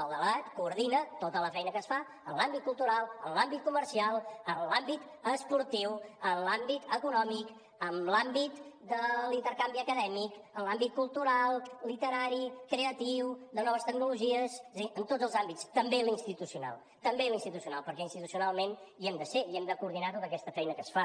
el delegat coordina tota la feina que es fa en l’àmbit cultural en l’àmbit comercial en l’àmbit esportiu en l’àmbit econòmic en l’àmbit de l’intercanvi acadèmic en l’àmbit cultural literari creatiu de noves tecnologies és a dir en tots els àmbits també l’institucional també l’institucional perquè institucionalment hi hem de ser i hem de coordinar tota aquesta feina que es fa